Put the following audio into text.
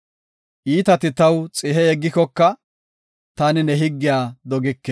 Iitati taw xihe yeggikoka, taani ne higgiya dogike.